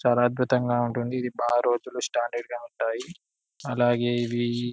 చాలా అద్భుతంగా ఉంటుంది ఇది బాగా రోజులు స్టాండర్డ్ గా ఉంటాయి. అలాగే ఇవి --